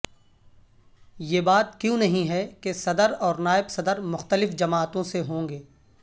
یہ بات کیوں نہیں ہے کہ صدر اور نائب صدر مختلف جماعتوں سے ہوں گے